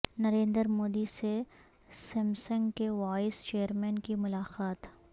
نریندر مودی سے سیمسنگ کے vice chairman کی ملاقات